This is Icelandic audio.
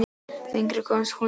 Lengra komst hún ekki.